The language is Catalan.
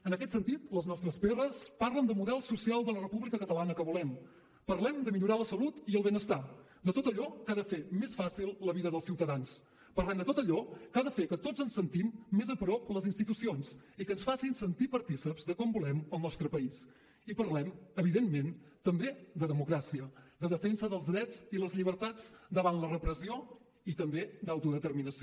en aquest sentit les nostres pr parlen de model social de la república catalana que volem parlem de millorar la salut i el benestar de tot allò que ha de fer més fàcil la vida dels ciutadans parlem de tot allò que ha de fer que tots ens sentim més a prop les institucions i que ens facin sentir partícips de com volem el nostre país i parlem evidentment també de democràcia de defensa dels drets i les llibertats davant la repressió i també d’autodeterminació